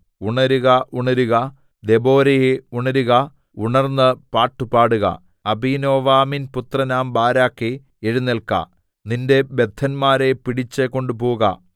ഉണരുക ഉണരുക ദെബോരയേ ഉണരുക ഉണർന്നു പാട്ടുപാടുക അബീനോവാമിൻപുത്രനാം ബാരാക്കേ എഴുന്നേല്ക്ക നിന്റെ ബദ്ധന്മാരെ പിടിച്ചു കൊണ്ടുപോക